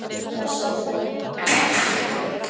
Þessi þögn, þessi kyrrð!